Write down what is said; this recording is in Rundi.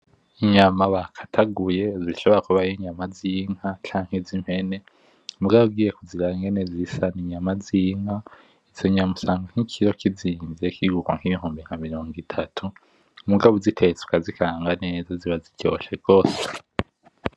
Inyama bakataguye, zishobora kuba ari z'inka canke z'impene, mugabo ugiye kuziraba ingene zisa n'inyama z'inka, izo nyama usanga nk'ikiro kizimvye kigugwa nk'ibihumbi nka mirongo itatu, mugabo uzitetse ukazikaranga neza ziba ziryoshe gose.